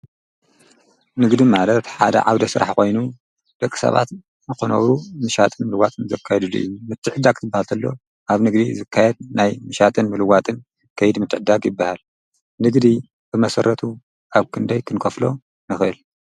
ንግድ ማለርት ሓደ ዓብደ ሥራሕ ኾይኑ፤ ደቂ ሰባት መኾነሩ ምሻትን ምልዋትን ዘካይዱድእዩን ምትዕዳግ ክበሃልተሎ ኣብ ንግሪ ዘካየድ ናይ ምሻጥን ምልዋጥን ከይድ ምትዕዳግ ይበሃል። ንግዲ ብመሠረቱ ኣብ ክንደይ ክንከፍሎ ነኽ?